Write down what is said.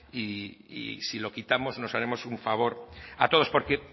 y si lo quitamos nos haremos un favor a todos porque